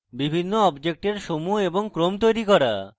বিভিন্ন অবজেক্টের সমূহ এবং ক্রম তৈরী করা